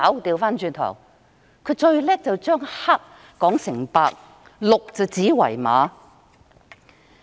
他最擅長是把黑說成白，鹿指為馬。